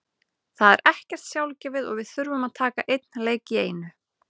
Það er ekkert sjálfgefið og við þurfum að taka einn leik í einu.